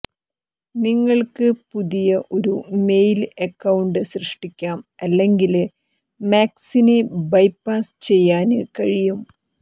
നിങ്ങള്ക്ക് പുതിയ ഒരു മെയില് അക്കൌണ്ട് സൃഷ്ടിക്കാം അല്ലെങ്കില് മാക്സിനെ ബൈപാസ് ചെയ്യാന് കഴിയും